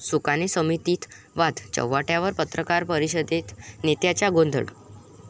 सुकाणू समितीत वाद चव्हाट्यावर, पत्रकार परिषदेत नेत्यांचा गोंधळ